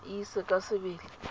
o e ise ka sebele